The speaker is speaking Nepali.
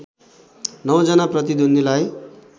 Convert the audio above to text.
नौ जना प्रतिद्वन्द्वीलाई